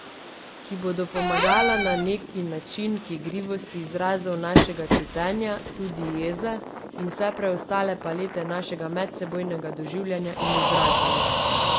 Ki bodo pomagala na neki način k igrivosti izrazov našega čutenja, tudi jeze, in vse preostale palete našega medsebojnega doživljanja in izražanja.